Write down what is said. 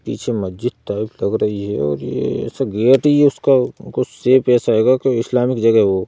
पीछे मस्जिद टाइप लग रही है और ये ऐसा गेट ही उसका कुछ शेप ऐसा आएगा कि इस्लामिक जगह हो ।